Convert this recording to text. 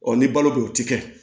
Ɔ ni balo bɛ o ti kɛ